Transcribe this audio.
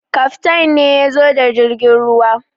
Kaftain ne ya zo da jirgin ruwan.